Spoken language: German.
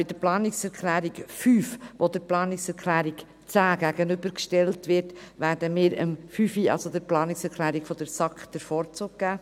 Bei der Planungserklärung 5, die der Planungserklärung 10 gegenübergestellt wird, werden wir der Planungserklärung 5 der SAK den Vorzug geben.